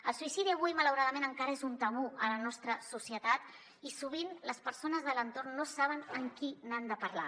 el suïcidi avui malauradament encara és un tabú a la nostra societat i sovint les persones de l’entorn no saben amb qui n’han de parlar